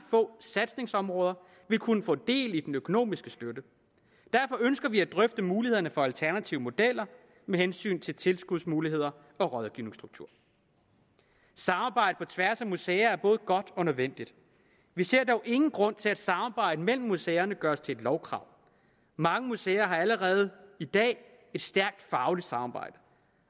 få satsningsområder vil kunne få del i den økonomiske støtte derfor ønsker vi at drøfte mulighederne for alternative modeller med hensyn til tilskudsmuligheder og rådgivningsstruktur samarbejde på tværs af museer er både godt og nødvendigt vi ser dog ingen grund til at samarbejde mellem museerne gøres til et lovkrav mange museer har allerede i dag et stærkt fagligt samarbejde